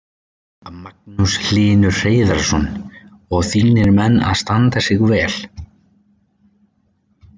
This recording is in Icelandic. Magnús Hlynur Hreiðarsson: Og þínir menn að standa sig vel?